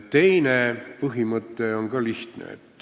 Teine põhimõte on ka lihtne.